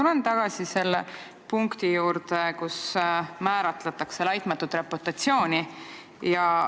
Ma tulen tagasi selle punkti juurde, kus määratletakse "laitmatut reputatsiooni".